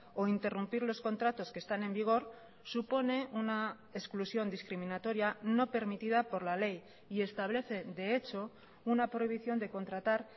o interrumpir los contratos que están en vigor supone una exclusión discriminatoria no permitida por la ley y establece de hecho una prohibición de contratar